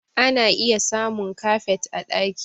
Ana iya samun kafet a ɗaki